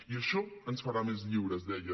i això ens farà més lliures deia